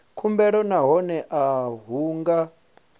khumbelo nahone a hu nga